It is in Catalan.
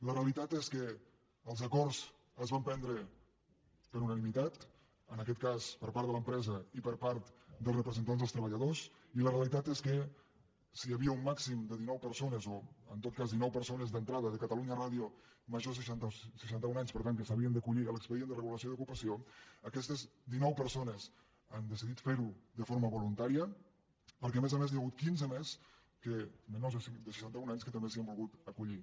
la realitat és que els acords es van prendre per unanimitat en aquest cas per part de l’empresa i per part dels representants dels treballadors i la realitat és que si hi havia un màxim de dinou persones o en tot cas dinou persones d’entrada de catalunya ràdio majors de seixanta un anys per tant que s’havien d’acollir a l’expedient de regulació d’ocupació aquestes dinou persones han decidit fer ho de forma voluntària perquè a més a més n’hi ha hagut quinze més menors de seixanta un anys que també s’hi han volgut acollir